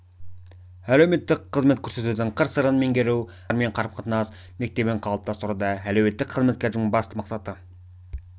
әлеуметтік қызмет көрсетудің қыр-сырын меңгеру жаңа заманға сай адамдармен қарым-қатынас мектебін қалыптастыруда әлеуеттік қызметкердің басты мақсаты